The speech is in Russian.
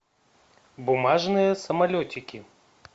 бумажные самолетики